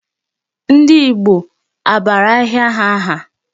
Ndị Igbo a bara ahịa ha aha?